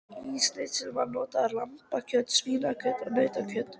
Í snitsel má nota lambakjöt, svínakjöt og nautakjöt.